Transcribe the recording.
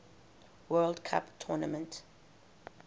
world cup tournament